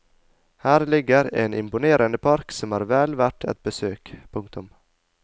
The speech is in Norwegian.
Her ligger en imponerende park som er vel verd et besøk. punktum